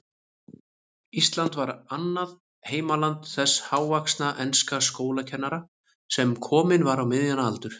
Ísland var annað heimaland þessa hávaxna enska skólakennara, sem kominn var á miðjan aldur.